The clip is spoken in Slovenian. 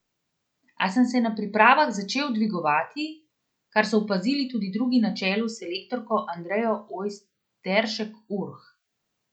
A sem se na pripravah začel dvigovati, kar so opazili tudi drugi na čelu s selektorko Andrejo Ojsteršek Urh.